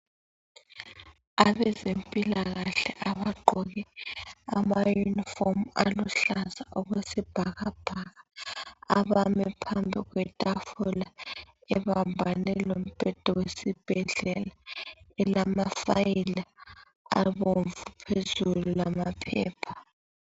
Abezempilakahle abagqoke amayunifomu aluhlaza okwesibhakabhaka, abame phambi kwetafula ebambane lombheda wesibhedlela elama amafayili abomvu lamaphepha.